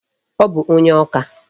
Ọ bụ onye Awka.